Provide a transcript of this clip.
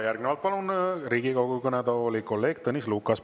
Järgnevalt palun Riigikogu kõnetooli kolleeg Tõnis Lukase.